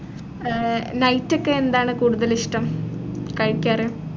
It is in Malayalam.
ആഹ് night ഒക്കെ ഏന്താണ് കൂടുതലിഷ്ടം കഴിക്കാറ്